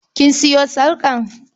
Kin sayo sarƙar?